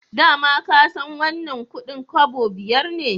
Da ma ka san wannan kudin kobo biyar ne